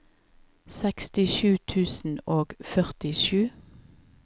sekstisju tusen og førtisju